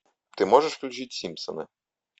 ты можешь включить симпсоны